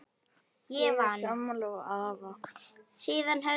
Ég er sammála afa.